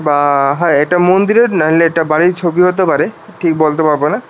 অ্যা হ্যাঁ এটা মন্দিরের না এটা বাড়ির ছবি হতে পারে ঠিক বলতে পারবোনা।